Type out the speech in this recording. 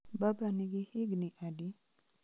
Baba nigi higni adi?